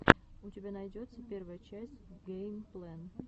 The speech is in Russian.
у тебя найдется первая часть гэймплэн